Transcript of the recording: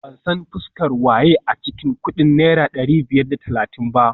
Ban san fuskar waye a cikin kudin naira dari biyar da talatin ba